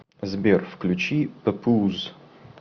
сбер включи папуз